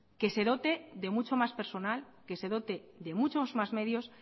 que se dote de mucho más personal que se dote de muchos más medios